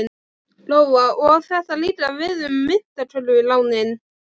Lóa: Og á þetta líka við um myntkörfulánin?